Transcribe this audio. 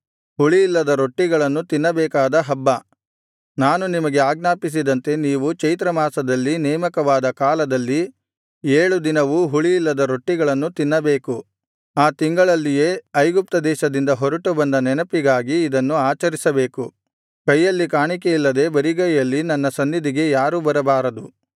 ಹುಳಿಯಿಲ್ಲದ ರೊಟ್ಟಿಗಳನ್ನು ತಿನ್ನಬೇಕಾದ ಹಬ್ಬ ನಾನು ನಿಮಗೆ ಆಜ್ಞಾಪಿಸಿದಂತೆ ನೀವು ಚೈತ್ರಮಾಸದಲ್ಲಿ ನೇಮಕವಾದ ಕಾಲದಲ್ಲಿ ಏಳು ದಿನವೂ ಹುಳಿಯಿಲ್ಲದ ರೊಟ್ಟಿಗಳನ್ನು ತಿನ್ನಬೇಕು ಆ ತಿಂಗಳಲ್ಲಿಯೇ ಐಗುಪ್ತ ದೇಶದಿಂದ ಹೊರಟು ಬಂದ ನೆನಪಿಗಾಗಿ ಇದನ್ನು ಆಚರಿಸಬೇಕು ಕೈಯಲ್ಲಿ ಕಾಣಿಕೆಯಿಲ್ಲದೆ ಬರಿಗೈಯಲ್ಲಿ ನನ್ನ ಸನ್ನಿಧಿಗೆ ಯಾರು ಬರಬಾರದು